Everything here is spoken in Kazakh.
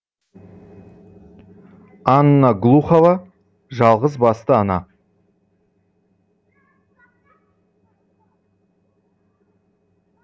анна глухова жалғызбасты ана